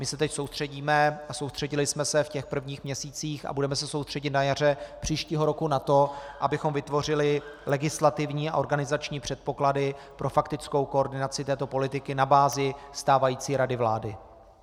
My se teď soustředíme a soustředili jsme se v těch prvních měsících a budeme se soustředit na jaře příštího roku na to, abychom vytvořili legislativní a organizační předpoklady pro faktickou koordinaci této politiky na bázi stávající rady vlády.